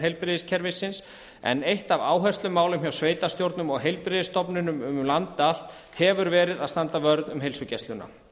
heilbrigðiskerfisins en eitt af áherslumálum hjá sveitarstjórnum og heilbrigðisstofnunum um allt land hefur verið að standa vörð um heilsugæsluna